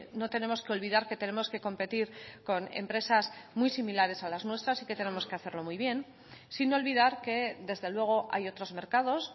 no tenemos que olvidar que tenemos que competir con empresas muy similares a las nuestras y que tenemos que hacerlo muy bien sin olvidar que desde luego hay otros mercados